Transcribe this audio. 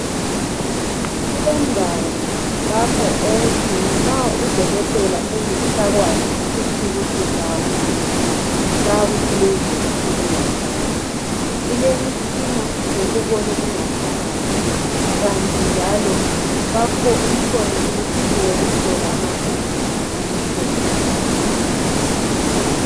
Kulendawo lapho okuthi nxa udokotela engasakwazisisi ukuthi ubulawa yini, bayakuthumezela kuleyo ndawo ilemitshina yokubona ingaphakathi kanti njalo kukhona imitshina yokuhlola amagazi lemichemo yabantu.